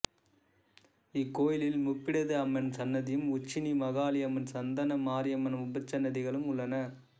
இக்கோயிலில் முப்பிடாதியம்மன் சன்னதியும் உச்சினி மாகாளி அம்மன் சந்தன மாரியம்மன் உபசன்னதிகளும் உள்ளன